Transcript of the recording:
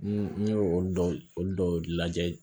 N ye olu dɔw olu dɔw lajɛ